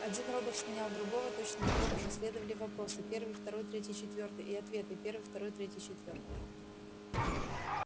один робот сменял другого точно такого же следовали вопросы первый второй третий четвёртый и ответы первый второй третий четвёртый